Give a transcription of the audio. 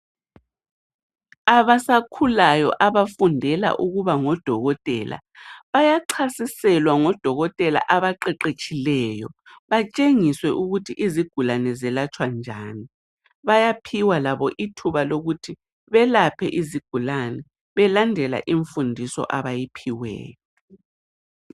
Abasakhulayo abafundela ukuba ngodokotela bayachasiselwa ngodokotela abaqeqetshileyo batshengiswe ukuthi izigulane zelatshwa njani bayaphiwa labo ithuba lokuthi belaphe izigulani belandela imfundiso abayiphiweyo.